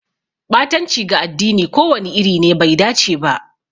Ɓatanci ga addini ko wani iri ne bai dace ba.